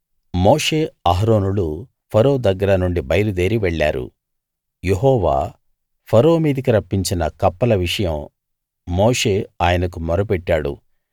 మోషే అహరోనులు ఫరో దగ్గర నుండి బయలుదేరి వెళ్ళారు యెహోవా ఫరో మీదికి రప్పించిన కప్పల విషయం మోషే ఆయనకు మొరపెట్టాడు